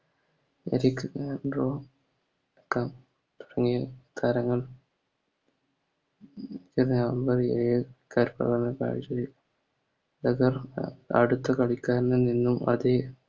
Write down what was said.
താരങ്ങൾ അടുത്ത കളിക്കാരൻ അത്